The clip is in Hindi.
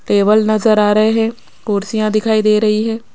टेबल नजर आ रहे हैं कुर्सियां दिखाई दे रही है।